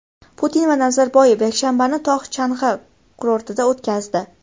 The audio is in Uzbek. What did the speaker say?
Putin va Nazarboyev yakshanbani tog‘-chang‘i kurortida o‘tkazdi.